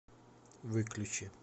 выключи